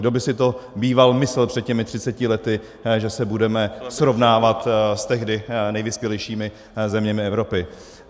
Kdo by si to býval myslel před těmi třiceti lety, že se budeme srovnávat s tehdy nejvyspělejšími zeměmi Evropy.